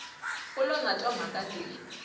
lo na twa mhaka leyi